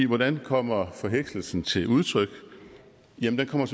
hvordan kommer forhekselsen til udtryk den kommer